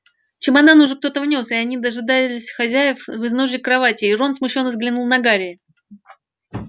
чемоданы уже кто-то внёс и они дожидались хозяев в изножье кроватей рон смущённо взглянул на гарри